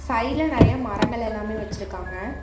சைடுல நிறைய மரங்கள் எல்லாமே வச்சுருக்காங்க.